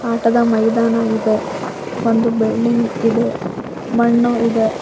ಆಟದ ಮೈದಾನ ಇದೆ ಒಂದು ಬಿಲ್ಡಿಂಗ್ ಇದೆ ಮಣ್ಣು ಇದೆ.